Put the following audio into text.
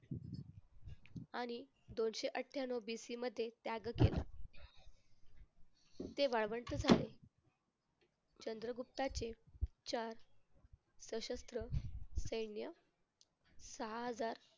आणि दोनशे अठ्ठयानऊ BC मध्ये त्याग केला. ते वाळवंट झाले. चंद्रगुप्ताची चार सशस्त्र सैन्य सहा हजार